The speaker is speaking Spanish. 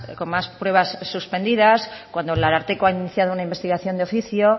con más pruebas suspendidas cuando el ararteko ha iniciado una investigación de oficio